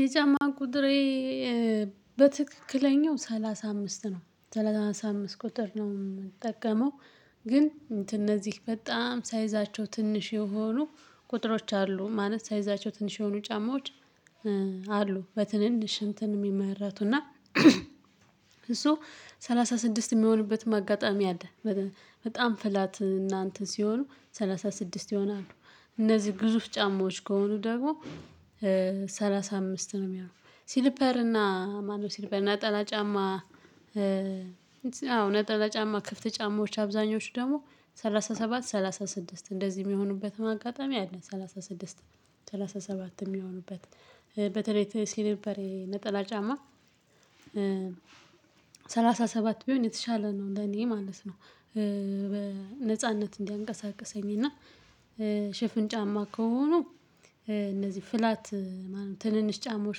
የጫማ ቁጥሬ በትክክለኛው ሰላሳ አምስት ነው ሰላሳ አምስት ቁጥር ነው የምጠቀመው። ግን እንትን እነዚህ በጣም ሳይዛቸው ትንሽ የሆኑ ቁጥሮች አሉ ማለት ሳይዛቸው ትንሽ የሆኑ ጫማዎች። አሉ በትንንሽ እንትን የሚመርቱና እሱ ሰላሳ ስድስት የሚሆንበትም አጋጠሚያ አለ። በጣም ፍላት እና እንትን ሲሆኑ ሰላሳ ስድስት ይሆናሉ እነዚህ ግዙፍ ጫማዎች ከሆኑ ደግሞ ሰላሳ አምስት ነው የሚሆነው። ሲሊፐር እና ማነው ሲሊፐር ናጠላ ጫማ? አዎ ናጠላ ጫማ ክፍት ጫማዎች አብዛኞቹ ደግሞ ሰላሳ ሰባት ሰላሳ ስድስት እንደዚህ የሚሆኑበትም አጋጠሚ አለ። ሰላሳ ስድስት ሰላሳ ሰባት የሚሆኑበት በተለይ ሲልፔሬ ነጠላ ጫማ። ሰላሳ ሰባት ቢሆን የተሻለ ነው እንደኔ ማለት ነው። በነጻነት እንዲያንቀሳቅሰኝ እና። ሽፍን ጫማ ከሆኑ እነዚህ ፍላት ትንንሽ ጫማዎች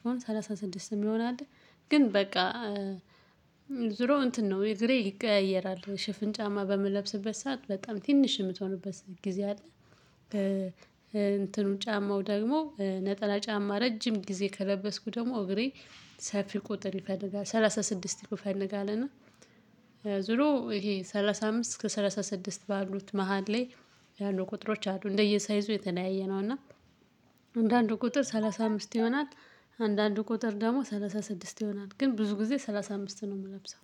ከሆነ ሰላሳ ስድስት ሰዓት ይሆናል። ግን በቃ ዙሮ እንትን ነው የግሬ ይቀያየራል ሽፍን ጫማ በምንለብስበት ሰዓት በጣም ትንሽ የምትሆንበት ጊዜ አለ። እንትኑ ጫማው ደግሞ ነጠላ ጫማ ረጅም ጊዜ ከለበስኩ ደግሞ እግሬ ሰፊ ቁጥር ይፈልጋል ሰላሳ ስድስት ቁጥር ይፈልጋል። እና ዙሮ ይሄ ሰላሳ አምስት ከሰላሳ ስድስት ባሉት መሃል ላይ ያሉ ቁጥሮች አሉ እንደየሳይዙ የተለያየ ነው። እና አንዳንድ ቁጥር ሰላሳ አምስት ይሆናል። አንዳንድ ቁጥር ደግሞ ሰላሳ ስድስት ይሆናል ግን ብዙ ጊዜ ሰላሳ አምስት ነው የምለብሰው።